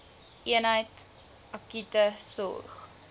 eenheid akute sorg